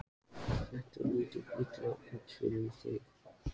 Þetta lítur illa út fyrir þig